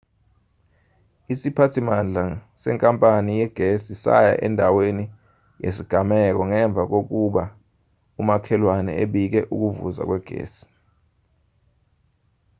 isiphathimandla senkapani yegesi saya endaweni yesigameko ngemva kokuba umakhelwane ebike ukuvuza kwegesi